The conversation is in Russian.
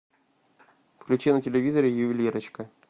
включи на телевизоре ювелирочка